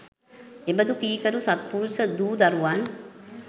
එබඳු කීකරු සත්පුරුෂ දූ දරුවන්